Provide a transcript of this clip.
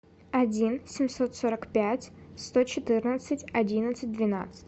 один семьсот сорок пять сто четырнадцать одиннадцать двенадцать